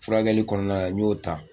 Furakɛli kɔnɔna na n y'o ta